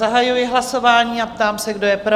Zahajuji hlasování a ptám se, kdo je pro?